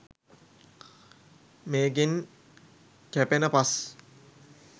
මේකෙන් කැපෙන පස්